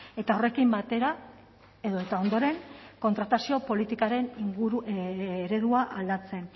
eta horrekin batera edota ondoren kontratazio politikaren inguru eredua aldatzen